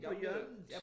På hjørnet?